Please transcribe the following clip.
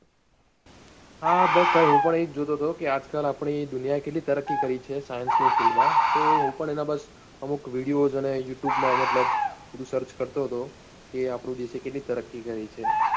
હા બસ ભાઈ હું પણ એ જ જોતો હતો કે આજકાલ આપણી દુનિયા કેટલી તરક્કી કરી છે science ની field માં તો હું પણ એના બસ અમુક videos અને youtube માં મતલબ બધું search કરતો હતો કે આપના દેશે કેટલી તરક્કી કરી છે.